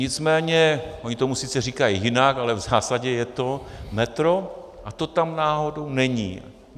Nicméně oni tomu sice říkají jinak, ale v zásadě je to metro a to tam náhodou není.